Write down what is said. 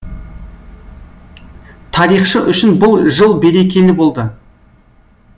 тарихшы үшін бұл жыл берекелі болды